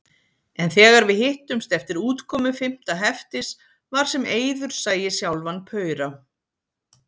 En þegar við hittumst eftir útkomu fimmta heftis var sem Eiður sæi sjálfan paura.